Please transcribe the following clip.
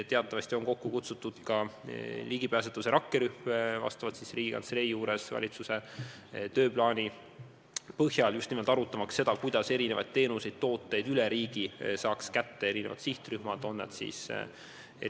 Teatavasti on kokku kutsutud ka ligipääsetavuse rakkerühm – seda Riigikantselei juures vastavalt valitsuse tööplaanile – ja just nimelt arutamaks seda, kuidas erinevad sihtrühmad saaksid erinevaid teenuseid-tooteid üle riigi kätte.